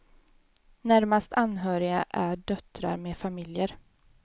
Närmast anhöriga är döttrar med familjer.